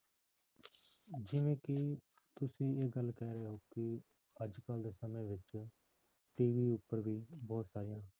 ਜਿਵੇਂ ਕਿ ਤੁਸੀਂ ਇਹ ਗੱਲ ਕਹਿ ਰਹੇ ਹੋ ਕਿ ਅੱਜ ਕੱਲ੍ਹ ਦੇ ਸਮੇਂ ਵਿੱਚ TV ਉੱਪਰ ਵੀ ਬਹੁਤ ਸਾਰੀਆਂ